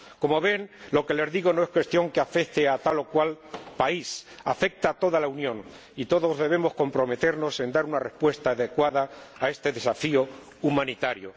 Como ven, lo que les digo no es cuestión que afecte a tal o cual país afecta a toda la Unión y todos debemos comprometernos en dar una respuesta adecuada a este desafío humanitario.